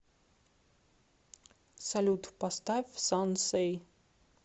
салют поставь сансэй